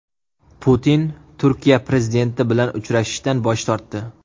Putin Turkiya prezidenti bilan uchrashishdan bosh tortdi .